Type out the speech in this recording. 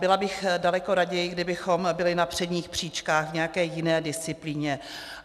Byla bych daleko raději, kdybychom byli na předních příčkách v nějaké jiné disciplíně.